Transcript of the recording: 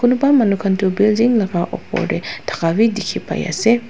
kunuba manukan tu building laka upor de taka b diki pai ase.